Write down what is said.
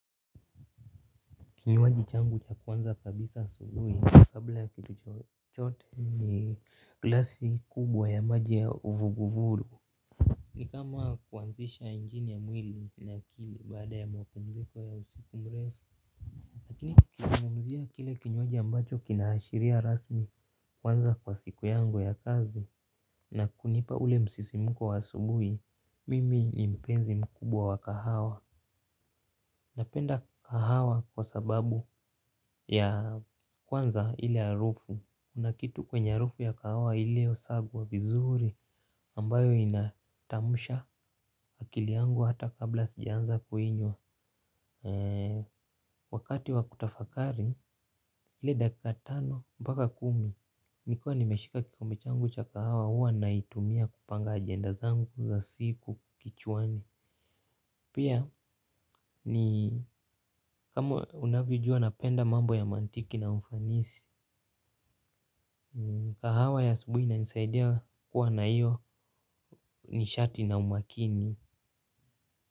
Kinywaji changu cha kwanza kabisa asubuhi, kabla ya kitu chochote ni glasi kubwa ya maji ya vugu vugu. Ni kama kuanzisha injini mwili na akili baada ya mapumziko ya usiku mrefu lakini nikizungumzia kile kinywaji ambacho kina ashiria rasmi kuanza kwa siku yangu ya kazi. Na kunipa ule msisimko wa asubuhi, mimi ni mpenzi mkubwa wa kahawa. Napenda kahawa kwa sababu ya kwanza ile harufu kuna kitu kwenye harufu ya kahawa iliyosagwa wa vizuri ambayo inachangamsha akili yangu hata kabla sijaanza kuinywa. Wakati wa kutafakari, ile dakika tano mpaka kumi nikuwa nimeshika kikombe changu cha kahawa huwa naitumia kupanga ajenda zangu za siku kichwani. Pia ni kama unavyojua napenda mambo ya mantiki na mfanisi. Kahawa ya asubuhi inanisaidia kuwa na hiyo nishati na umakini.